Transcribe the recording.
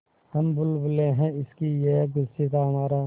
हम बुलबुलें हैं इसकी यह गुलसिताँ हमारा